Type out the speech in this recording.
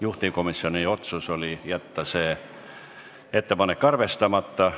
Juhtivkomisjoni otsus oli jätta see ettepanek arvestamata.